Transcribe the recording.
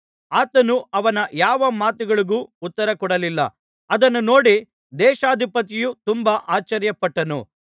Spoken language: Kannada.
ಆತನು ಅವನ ಯಾವ ಮಾತುಗಳಿಗೂ ಉತ್ತರಕೊಡಲಿಲ್ಲ ಅದನ್ನು ನೋಡಿ ದೇಶಾಧಿಪತಿಯು ತುಂಬಾ ಆಶ್ಚರ್ಯಪಟ್ಟನು